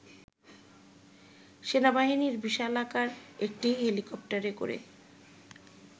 সেনাবাহিনীর বিশালাকার একটি হেলিকপ্টারে করে